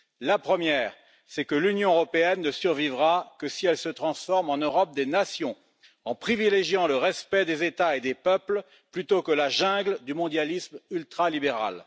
La première, c'est que l'Union européenne ne survivra que si elle se transforme en Europe des nations en privilégiant le respect des États et des peuples, plutôt que la jungle du mondialisme ultralibéral.